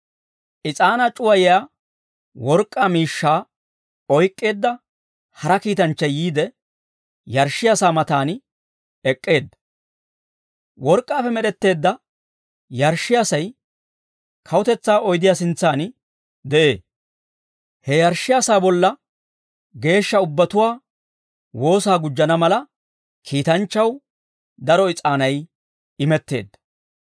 Is'aanaa c'uwayiyaa work'k'aa miishshaa oyk'k'eedda hara kiitanchchay yiide, yarshshiyaa sa'aa matan ek'k'eedda. Work'k'aappe med'etteedda yarshshiyaasay kawutetsaa oydiyaa sintsan de'ee; he yarshshiyaa sa'aa bolla geeshsha ubbatuwaa woosaa gujjana mala, kiitanchchaw daro is'aanay imetteedda.